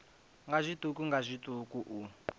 nga zwiṱuku nga zwiṱuku u